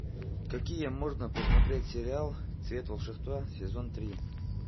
какие можно посмотреть сериал цвет волшебства сезон три